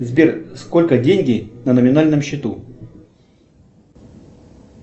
сбер сколько деньги на номинальном счету